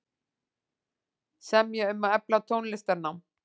Semja um að efla tónlistarnám